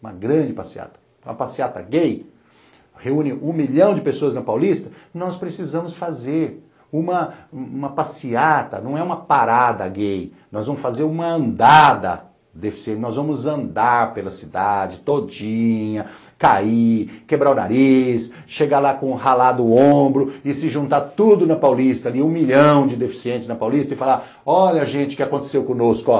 uma grande passeata, uma passeata gay, reúne um milhão de pessoas na Paulista, nós precisamos fazer uma uma passeata, não é uma parada gay, nós vamos fazer uma andada deficiente, nós vamos andar pela cidade todinha, cair, quebrar o nariz, chegar lá com o ralado o ombro e se juntar tudo na Paulista ali, um milhão de deficientes na Paulista e falar, olha gente o que aconteceu conosco ó,